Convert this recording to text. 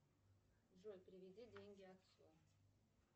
джой переведи деньги отцу